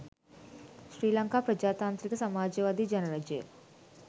ශ්‍රී ලංකා ප්‍රජාතන්ත්‍රික සමාජවාදී ජනරජය.